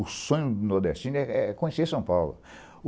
O sonho do nordestino é é conhecer São Paulo.